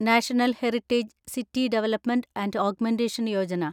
national heritage city development and augmentation Yojana